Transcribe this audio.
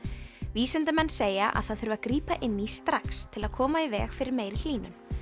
vísindamenn segja að það þurfi að grípa inn í strax til að koma í veg fyrir meiri hlýnun